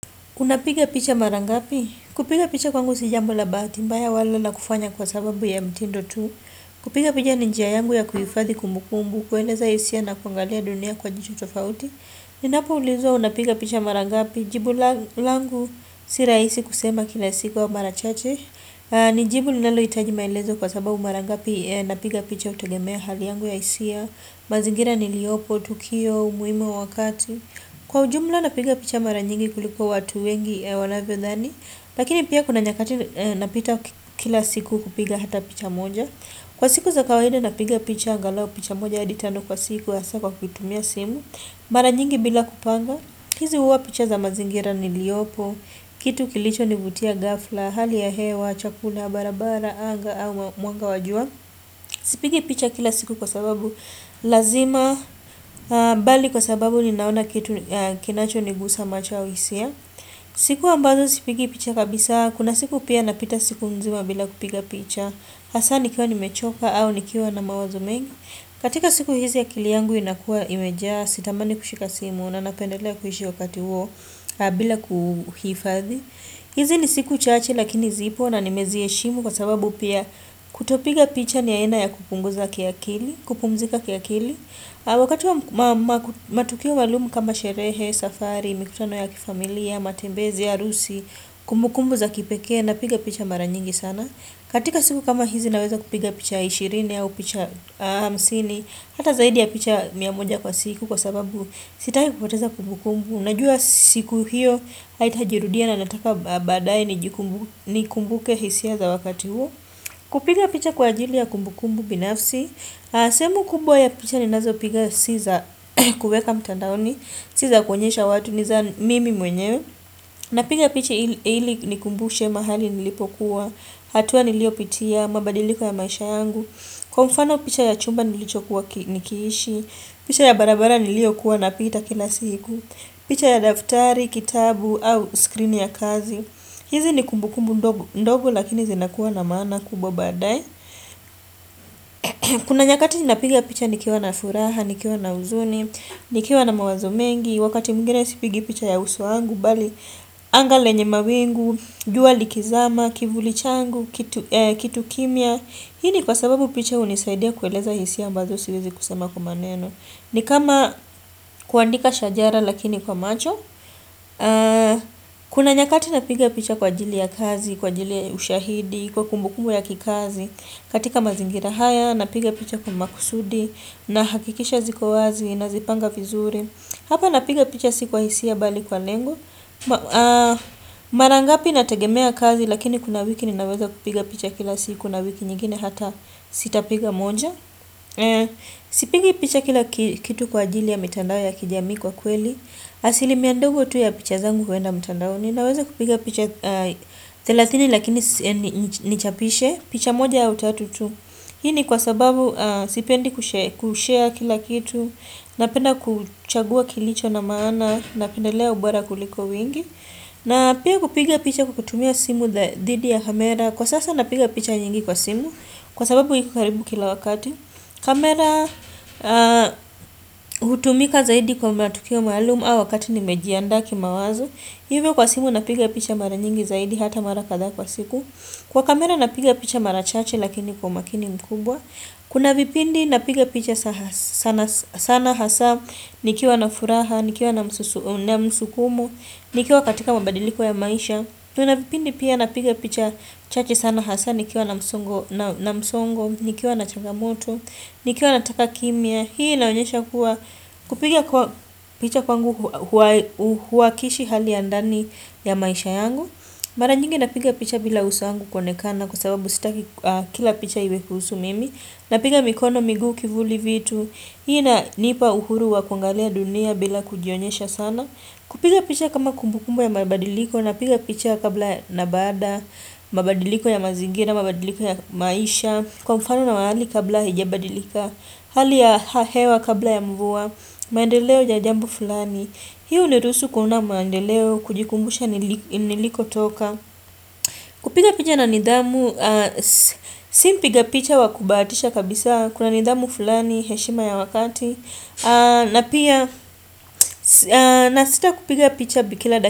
Unapiga picha mara ngapi? Kupiga picha kwangu si jambo la bahati mbaya wala la kufanya kwa sababu ya mtindo tu. Kupiga picha ni njia yangu ya kuhifadhi kumbukumbu, kueleza hisia na kuangalia dunia kwa jicho tofauti. Ninapoulizwa unapiga picha mara ngapi jibu langu si rahisi kusema kila au mara chache. Nijibu linaloitajima maelezo kwa sababu mara ngapi napiga picha kutegemea hali yangu ya hisia. Mazingira niliopo, tukio, umuimu wa wakati kwa ujumla napiga picha mara nyingi kuliko watu wengi wanavyodhani lakini pia kuna nyakati napita kila siku kupiga hata picha moja kwa siku za kawaida napiga picha angalau picha moja hadi tano kwa siku hasa kwa kuitumia simu mara nyingi bila kupanga hizi huwa picha za mazingira niliopo kitu kilichonivutia ghafla, hali ya hewa, chakula, barabara, anga au mwanga wa jua Sipigi picha kila siku kwa sababu lazima bali kwa sababu ninaona kinachonigusa mach au hisia siku ambazo sipigi picha kabisa kuna siku pia napita siku nzima bila kupiga picha Hasa nikiwa nimechoka au nikiwa na mawazo mengi katika siku hizi akili yangu inakuwa imeja sitamani kushika simu na napendelea kuhishi wakati huo bila kuhifadhi hizi ni siku chache lakini zipo na nimeziheshimu kwa sababu pia kutopiga picha ni aina ya kupunguza kiakili kupumzika kiakili Wakati wa matukio maalumu kama sherehe, safari, mikutano ya kifamilia, matembezi, arusi, kumbukumbu za kipekee napiga picha mara nyingi sana katika siku kama hizi naweza kupiga picha 20 au picha hamsini hata zaidi ya picha mia moja kwa siku kwa sababu sitaki kupoteza kumbukumbu Unajua siku hiyo, haitajirudia na nataka baadae nikumbuke hisia za wakati huo Kupiga picha kwa ajili ya kumbukumbu binafsi sehemu kubwa ya picha ninazopiga si za kuweka mtandaoni Si za kuonyesha watu ni za mimi mwenyewe Napiga picha ili nikumbushe mahali nilipokuwa hatua niliopitia, mabadiliko ya maisha yangu Kwa mfano picha ya chumba nilichokuwa nikiishi picha ya barabara niliokuwa napita kila siku picha ya daftari, kitabu au skrini ya kazi hizi ni kumbukumbu ndogo lakini zinakuwa na maana kubwa baadae Kuna nyakati ninapiga picha nikiwa na furaha, nikiwa na uzuni, nikiwa na mawazo mengi Wakati mwingine sipigi picha ya uso wangu bali Anga lenye mawingu, jua likizama, kivuli changu, kitu kimya Hini kwa sababu picha hunisaidia kueleza hisia ambazo siwezi kusema kwa maneno ni kama kuandika shajara lakini kwa macho Kuna nyakati napiga picha kwa ajili ya kazi, kwa ajili ya ushahidi, kwa kumbukumu ya kikazi katika mazingira haya, napiga picha kwa makusudi nahakikisha ziko wazi, nazipanga vizuri Hapa napiga picha si kwa hisia bali kwa lengo Mara ngapi natagemea kazi lakini kuna wiki ninaweza kupiga picha kila siku na wiki nyingine hata sitapiga moja Sipigi picha kila kitu kwa ajili ya mitandao ya kijamii kwa kweli asilimia ndogo tu ya picha zangu huenda mtandaoni Naweza kupiga picha thelathini lakini nichapishe picha moja au tatu tu Hii ni kwa sababu sipendi kushare kila kitu Napenda kuchagua kilicho na maana Napendelea ubora kuliko wingi na pia kupiga picha kwa kutumia simu dhidi ya kamera Kwa sasa napiga picha nyingi kwa simu Kwa sababu iko karibu kila wakati kamera hutumika zaidi kwa matukio maalumu au wakati nimejiandaa kimawazo Hivyo kwa simu napiga picha mara nyingi zaidi hata mara kadhaa kwa siku Kwa kamera napiga picha mara chache lakini kwa umakini mkubwa Kuna vipindi napiga picha sana hasa Nikiwa na furaha, nikiwa na msukumo Nikiwa katika mabadiliko ya maisha Kuna vipindi pia napiga picha chache sana hasa Nikiwa na msongo, nikiwa na changamoto Nikiwa nataka kimya Hii inaonyesha kuwa Kupiga picha kwangu Huwakishi hali ya ndani ya maisha yangu Mara nyingi napiga picha bila uso yangu konekana Kwa sababu sita kila picha iwe kuhusu mimi Napiga mikono, migu, kivuli vitu Hii inanipa uhuru wa kungalia dunia bila kujionyesha sana Kupiga picha kama kumbukumbu ya mabadiliko Napiga picha kabla na bada mabadiliko ya mazingira, mabadiliko ya maisha Kwa mfano na mahali kabla hijabadilika. Hali ya hewa kabla ya mvua. Maendeleo ya jambo fulani. Hii huniruhusu kuona maendeleo. Kujikumbusha nilikotoka. Kupiga picha na nidhamu. Simpiga picha wa kubahatisha kabisa. Kuna nidhamu fulani heshima ya wakati. Na pia nasita kupiga picha bi kila dakika.